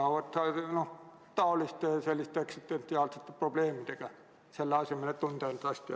Vahest maadeldakse taoliste eksistentsiaalsete probleemidega, selle asemel et end hästi tunda?